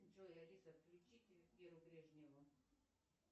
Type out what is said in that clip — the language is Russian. джой алиса включите веру брежневу